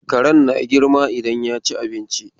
Karen na girma idan ya ci abinci.